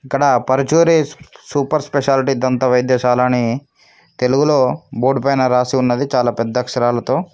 ఇక్కడ Paruchuri super speciality తంత వైద్యశాలనే తెలుగులో బోర్డ్ పైన రాసి ఉన్నది చాలా పెద్ద అక్షరాలతో.